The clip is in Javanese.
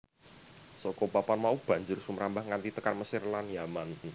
Saka papan mau banjur sumrambah nganti tekan Mesir lan Yaman